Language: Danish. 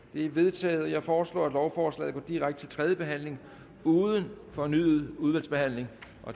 det er vedtaget jeg foreslår at lovforslaget går direkte til tredje behandling uden fornyet udvalgsbehandling